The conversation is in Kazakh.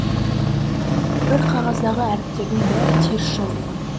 бір қағаздағы әріптердің бәрі теріс жазылған